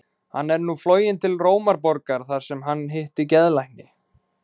Hann er nú floginn til Rómarborgar þar sem hann hittir geðlækni.